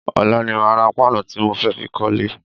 Ọ̀la ni màá ra páànù tí mo fẹ́ fi kọ́lẹ́.